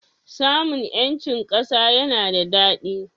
Samun 'yancin ƙasa yana da daɗi.